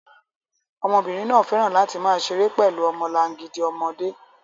Ọmọbìnrin náà fẹ́ràn láti máa ṣeré pẹ̀lú ọmọlangidi ọmọdé